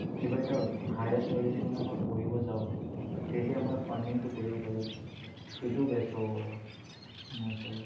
কিবা এটা higher studies ৰ কাৰণে পঢ়িব যাও তেতিয়া মই funding তো কৰিব পাৰিম সেইটো best হব পাৰে মোৰ হিচাপত